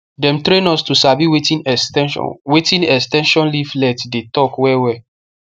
dem train us how to sabi wetin ex ten sion wetin ex ten sion leaflet dey talk wellwell